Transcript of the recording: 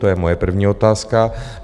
To je moje první otázka.